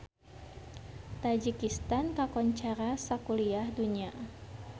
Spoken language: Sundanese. Tajikistan kakoncara sakuliah dunya